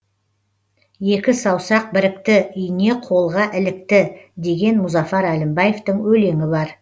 екі саусақ бірікті ине қолға ілікті деген мұзафар әлімбаевтың өлеңі бар